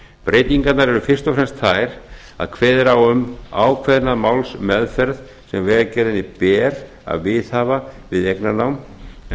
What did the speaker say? breytingarnar eru fyrst og fremst þær að kveðið er á um ákveðna málsmeðferð sem vegagerðinni ber að viðhafa við eignarnám en